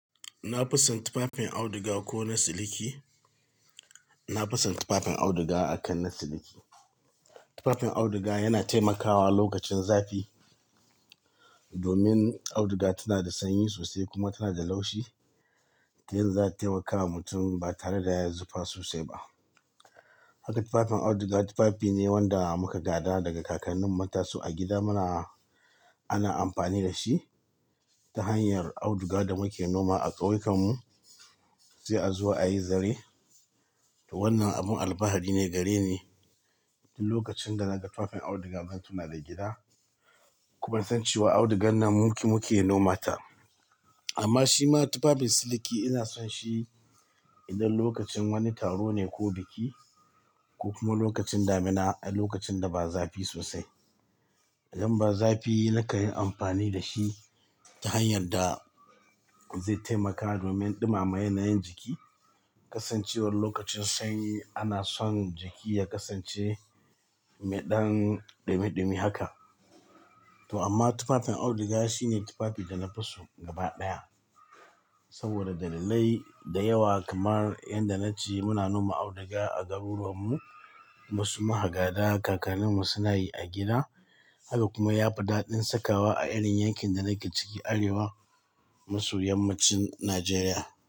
Na fi son tufafin auduga ko na siliki na fi son tufafin auduga akan na siliki. Tufafin auduga yana taimakawa lokacin zafi domin auduga tana da sanyi so sai kuma tana da laushi. Ta yanda za ta taimakawa mutum ba tare da ya yi zufa sosai ba. Haka tufafin auduga tufafi ne wanda muka gada daga kakannin mu mun taso a gida muna ana amfani da shi ta hanyar auduga da muke noma a ƙauyukanmu sai a zuwa ayi zare. To wannan abun alfahari ne, gari ne. Du lokacin da naga tufafin auduga zan tuna da gida. Kuma nasan cewa audugar nan muke, muke noma ta. Amma shi ma tufafin siliki ina son shi idan lokacin wani taro ne ko biki ko kuma lokacin damina a lokacin da ba zafi sosai. Idan ba zafi na kan yin amfani da shi ta hanyar da zai taimaka domin ɗumama yanayin jiki. Kasancewar lokacin sanyi ana son jiki ya kasance me ɗan ɗumi ɗumi haka. To amma tufafin auduga shine tufafi da na fi so gaba ɗaya saboda dalilai da yawa kamar inda na ce muna noma auduga a garu ruwanmu kuma su muka gada ka kan ninmu sunayi a gida. Haka kuma ya fi daɗin sakawa a irin yankin da nake ciki Arewa maso yammacin Najeriya.